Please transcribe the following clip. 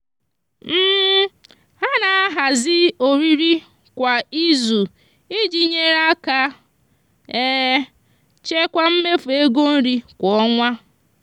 ha na-ahazi oriri kwa izu iji nyere aka chekwaa mmefu ego nri kwa ọnwa.